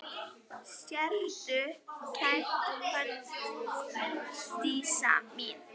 Sértu kært kvödd, Dísa mín.